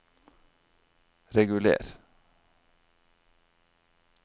reguler